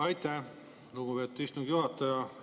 Aitäh, lugupeetud istungi juhataja!